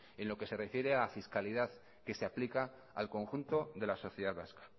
en lo que se refiere a fiscalidad que se aplica al conjunto de la sociedad vasca